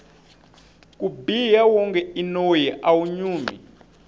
ku biha wonge i noyi awu nyumi